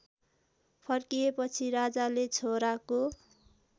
फर्किएपछि राजाले छोराको